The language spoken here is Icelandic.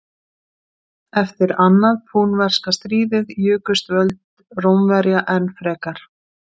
Eftir annað púnverska stríðið jukust völd Rómverja enn frekar.